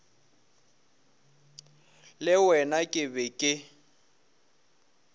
le wena ke be ke